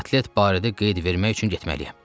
Kotlet barədə qeyd vermək üçün getməliyəm.